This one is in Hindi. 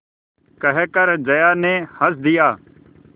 कहकर जया ने हँस दिया